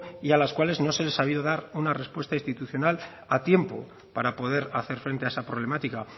a las cuales no se les ha sabido dar una respuesta institucional a tiempo para poder hacer frente a esa problemática